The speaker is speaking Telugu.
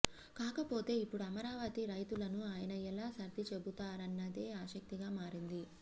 కాకపోతే ఇప్పుడు అమరావతి రైతులను ఆయన ఎలా సర్ది చెబుతారన్నదే ఆసక్తిగా మారింది